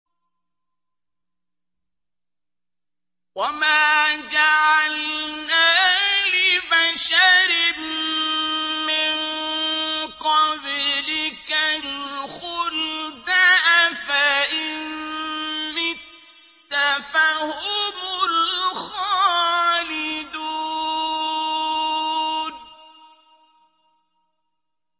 وَمَا جَعَلْنَا لِبَشَرٍ مِّن قَبْلِكَ الْخُلْدَ ۖ أَفَإِن مِّتَّ فَهُمُ الْخَالِدُونَ